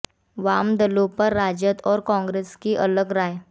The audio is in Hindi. वाम दलों पर राजद और कांग्रेस की अलग राय